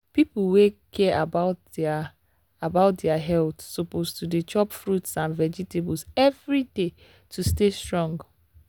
people wey care about their about their health suppose to dey chop fruits and vegetables every day to stay strong.